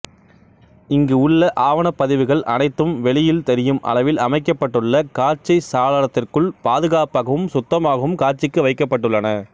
இங்கு உள்ள ஆவணப் பதிவுகள் அனைத்தும் வெளியில் தெரியும் அளவில் அமைக்கப்பட்டுள்ள காட்சி சாளரத்திற்குள் பாதுகாப்பாகவும் சுத்தமாகவும் காட்சிக்கு வைக்கப்பட்டுள்ளன